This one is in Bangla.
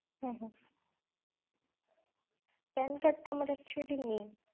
হম হম pan card টা actually আমার নেই।